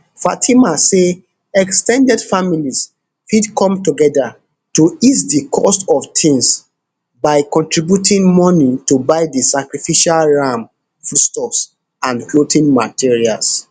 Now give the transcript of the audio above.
fatima say ex ten ded families fit come togeda to ease di cost of tings by contributing moni to buy di sacrificial ram foodstuffs and clothing materials